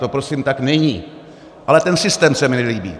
To prosím tak není, ale ten systém se mi nelíbí.